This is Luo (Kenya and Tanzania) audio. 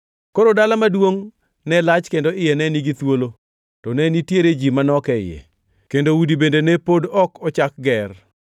Koro dala maduongʼ ne lach kendo iye ne nigi thuolo, to ne nitiere ji manok e iye, kendo udi bende ne pod ok pok ochak ger.